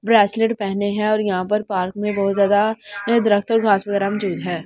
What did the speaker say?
Bracelet पहने हैं और यहां पर पार्क में बहुत ज्यादा दरख्त और घास वगैरह मौजूद है।